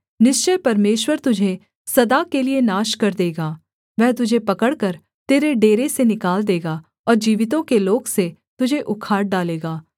निश्चय परमेश्वर तुझे सदा के लिये नाश कर देगा वह तुझे पकड़कर तेरे डेरे से निकाल देगा और जीवितों के लोक से तुझे उखाड़ डालेगा सेला